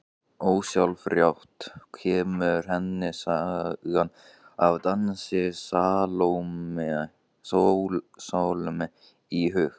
Ósjálfrátt kemur henni sagan af dansi Salóme í hug.